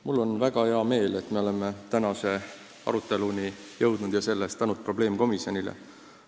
Mul on väga hea meel, et me oleme tänase aruteluni jõudnud – selle eest tänud probleemkomisjonile.